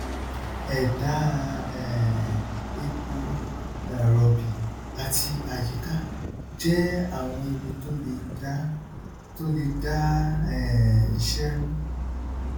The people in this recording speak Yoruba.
ẹdá um epo um ròbì àti àyíká jẹ àwọn ewu tó lè dá tó lè dá um iṣẹ rú